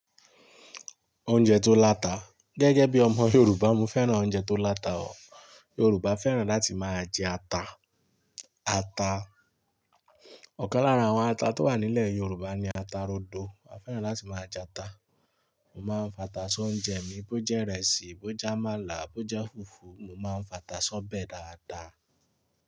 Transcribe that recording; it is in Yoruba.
Oúnjẹ tó láta. Gẹ́gẹ́ bí ọmọ Yorùbá mo fẹ́ràn oúnjẹ tó láta o. Yorùbá fẹ́ràn láti máa jẹ ata. Ata. Ọ̀kan lára àwọn ata tó wà nílẹ̀ Yorùbá ni ata rodo. A fẹ́ràn láti máa jẹ ata. Mo máa ń fata sí oúnjẹ mi bó jẹ́ ìrẹsì, bó jẹ́ àmàlà, bó jẹ́ fùfú, mo máa ń fata sọ́bẹ̀ dáadáa.